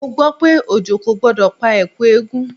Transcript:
Mo gbọ́ pé òjò kò gbọdọ̀ pa Ẹ̀kú eégún.